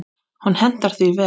Hún hentar því vel.